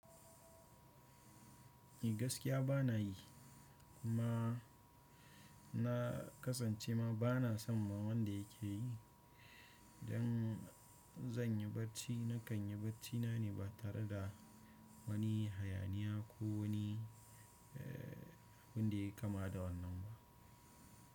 Ni gaskiya bana yi kuma na kasance ma bana son ma wanda yake yi. Don zan yi barci na kan yi barcina ne ba tare da wani hayaniya ko wani, eh, abin da yake kama da wannan ba.